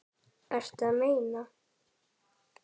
Ertu að meina.?